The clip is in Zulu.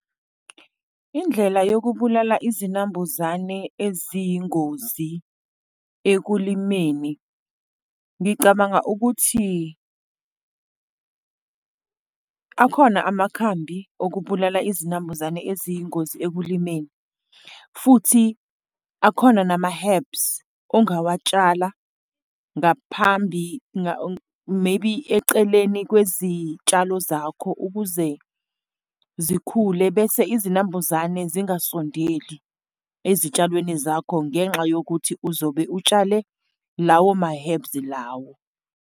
Indlela yokubulala izinambuzane eziyingozi ekulimeni, ngicabanga ukuthi akhona amakhambi okubulala izinambuzane eziyingozi ekulimeni futhi akhona nama-herbs ongawatshala ngaphambi maybe eceleni kwezitshalo zakho, ukuze zikhule bese izinambuzane zingasondeli ezitshalweni zakho, ngenxa yokuthi uzobe utshale lawo ma-herbs lawo.